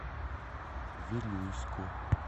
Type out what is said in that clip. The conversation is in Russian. вилюйску